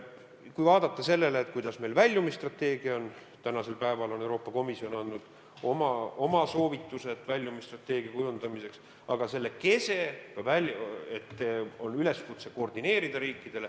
Kui vaadata seda, kuidas meil väljumisstrateegia on, siis praegu on Euroopa Komisjon andnud oma soovitused väljumisstrateegia kujundamiseks, aga selle kese on üleskutse riikidele koordineerida.